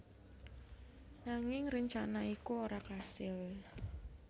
Nanging rencana iku ora kasil